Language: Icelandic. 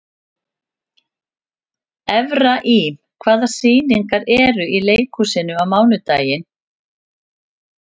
Efraím, hvaða sýningar eru í leikhúsinu á mánudaginn?